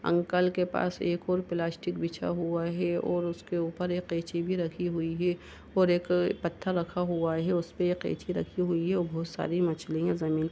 uncle के पास एक और प्लास्टिक बिछा हुआ है और उसके ऊपर एक कैची भी रखी हुई है और एक पत्थर रखा हुआ है उस पे ये कैची रखी हुई है और बोहोत सारी मछलियां जमीन --